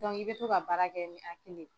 Dɔnku i bɛ to ka baara kɛ ni hakili ye.